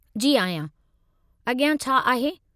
जी आहियां। अॻियां छा आहे?